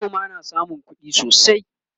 manoma na samun kuɗi sosai